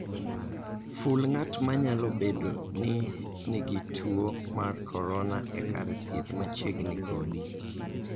Ful ng'at ma nyalo bedo ni nigi tuo mar corona e kar thieth machiegni kodi.